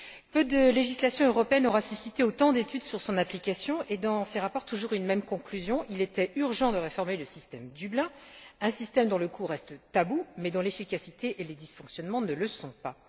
Peu de législations européennes auront suscité autant d'études sur leur application et, dans ces rapports, toujours une même conclusion il était urgent de réformer le système Dublin, un système dont le coût reste tabou mais dont l'efficacité et les dysfonctionnements ne le sont pas.